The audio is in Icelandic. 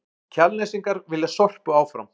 Kjalnesingar vilja Sorpu áfram